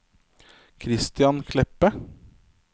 Kristian Kleppe